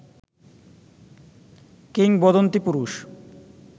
কিংবদন্তি পুরুষ